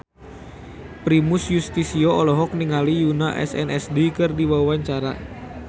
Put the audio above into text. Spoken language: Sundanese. Primus Yustisio olohok ningali Yoona SNSD keur diwawancara